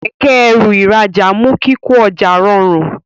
Kẹ̀kẹ́-ẹrù ìrajà mú kíkọ ọjà rọrun.